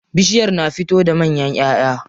Bishiyar na fito da manyan ƴaʼƴa.